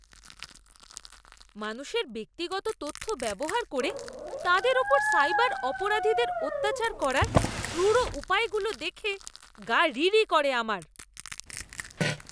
মানুষের ব্যক্তিগত তথ্য ব্যবহার করে তাদের উপর সাইবার অপরাধীদের অত্যাচার করার ক্রুর উপায়গুলো দেখে গা রিরি করে আমার।